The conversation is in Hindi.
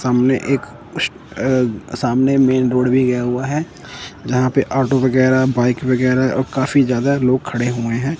सामने एक उश अ सामने मेन रोड भी गया हुआ है जहाँ पे ऑटो वगैरह बाइक वगैरह और काफ़ी ज्यादा लोग खड़े हुए है।